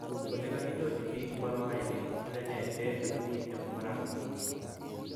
Ole kaginyorchi picborohainik, Kale nee AFP ufaransa?/